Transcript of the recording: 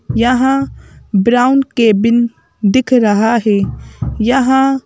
यहां brown cabin दिख रहा है यहां--